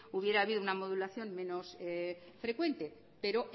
hubiera habido una modulación menos frecuente pero